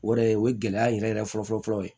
O yɛrɛ o ye gɛlɛya yɛrɛ yɛrɛ fɔlɔfɔlɔ ye